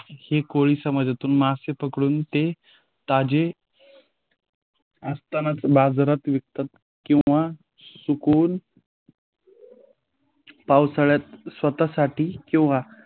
हे कोळी समाजातून मासे पकडून ते ताजे असताना बाजारात विकतात किंवा सुकून पावसाळ्यात स्वतःसाठी किंवा